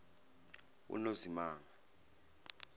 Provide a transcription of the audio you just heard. unozimanga